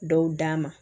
Dɔw d'a ma